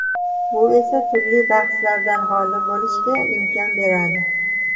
Bu esa turli bahslardan xoli bo‘lishga imkon beradi.